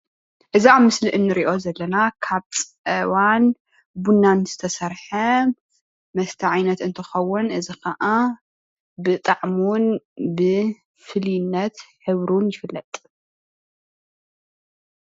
እዚ ኣብ ምስሊ እንሪኦ ዘለና ካብ ፀባን ቡናን ዝተሰርሕ መስተ ዓይነት እንተኽዉን እዚ ከኣ ብጣዕሚ እዉን ብፍሉይነት ሕብሩ ይፍለጥ።